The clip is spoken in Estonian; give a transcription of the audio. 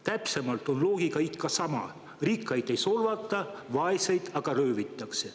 Täpsemalt on loogika ikka sama: rikkaid ei solvata, vaeseid aga röövitakse.